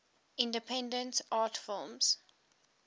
independent art films